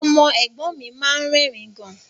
Ọmọ ẹ̀gbọ́n mi máa ń rẹ́rìn-ín gan